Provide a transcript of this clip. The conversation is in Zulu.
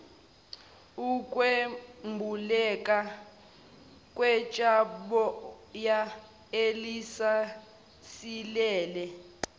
ukwembuleleka kwitsheboya elisasilele